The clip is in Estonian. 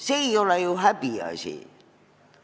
See ei ole ju häbiasi.